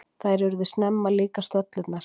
Þær urðu snemma líkar, stöllurnar.